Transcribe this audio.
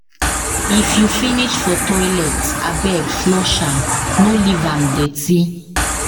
If you finish for toilet, abeg flush am, no leave am dirty.